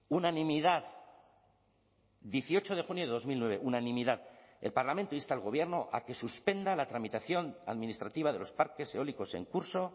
unanimidad dieciocho de junio de dos mil nueve unanimidad el parlamento insta al gobierno a que suspenda la tramitación administrativa de los parques eólicos en curso